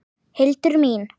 Hildur mín!